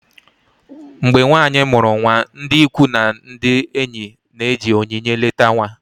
mgbe nwanyị mụrụ nwa, ndị ikwu na ndị enyi na-eji onyinye eleta nwa